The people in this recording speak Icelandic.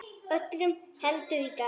Öllu heldur í gær.